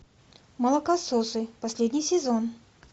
молокососы последний сезон